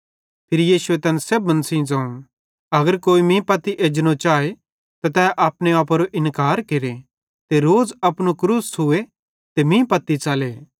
फिरी यीशुए तैन सेब्भन ज़ोवं अगर कोई मीं पत्ती एजनो चाए त अपने आपेरो इन्कार केरे ते रोज़ अपनू क्रूस छ़ूए ते मीं पत्ती च़ले